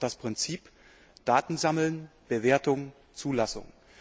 Wir haben dort das Prinzip Daten sammeln, Bewertung, Zulassung.